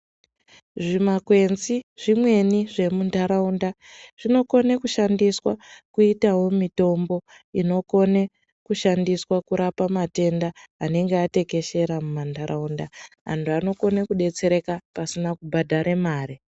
Zvimakwenzi zvimweni zvemundaraunda zvinokone kushandiswa kuitawo mitombo inokone kushandiswa kurapa matenda anenge atekeshera mumandaraunda. Antu anokone kudetsereka pasina kubhadhare mare.